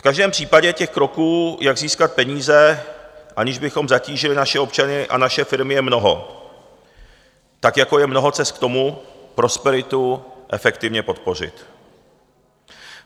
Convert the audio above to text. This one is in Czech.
V každém případě, těch kroků, jak získat peníze, aniž bychom zatížili naše občany a naše firmy, je mnoho, tak jako je mnoho cest k tomu, prosperitu efektivně podpořit.